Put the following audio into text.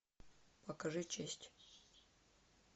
покажи честь